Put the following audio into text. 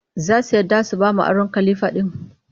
Za su yarda su ba mu aron kalifa ɗin